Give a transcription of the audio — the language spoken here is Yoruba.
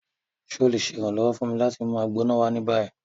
Ṣe o le ṣe iranlọwọ fun mi lati mu Agbona wa ni bayi?